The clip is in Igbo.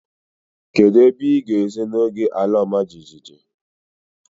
Kedụ ebe ịga ezo n'oge ala ọma jijiji?